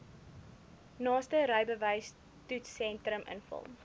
naaste rybewystoetssentrum invul